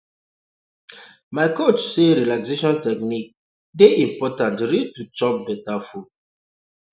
um my coach talk say relaxation technique um dey important reach to chop beta food